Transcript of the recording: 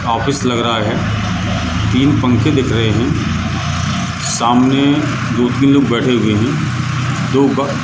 office लग रहा है तीन पंखे दिख रहें हैं सामने दो तीन लोग बैठे हुए हैं दो ब--